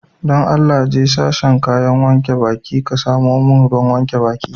Dan Allah, je sashin kayan wanke baki, ka samo mun ruwan wankin baki.